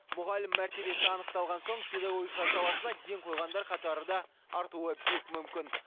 мұғалім мәртебесі анықталған соң педагогика саласына ден қойғандар қатары да артуы бек мүмкін